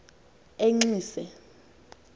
enxise